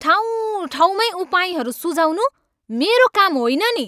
ठाउँ ठाउँमैँ उपायहरू सुझाउनु मेरो काम होइन नि।